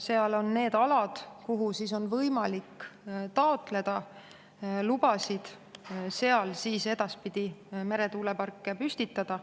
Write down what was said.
Seal on need alad, kuhu on võimalik taotleda lubasid edaspidi meretuuleparke püstitada.